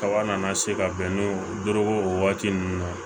Kaba nana se ka bɛn ni doroko waati ninnu na